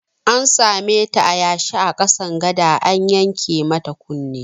An sameta a yanshe a ƙasan gada an yanke mata kunne